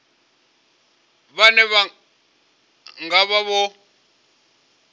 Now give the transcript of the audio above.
vhane vha nga vha vho